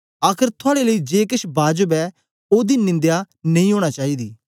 आखर थुआड़े लेई जे केछ बाजब ऐ ओदी निंदया नेई ओना चाईदी